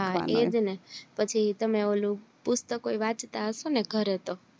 હા એજ ને પછી તમે ઓલું પુસ્તકો વાચતા હશો ને ઘરે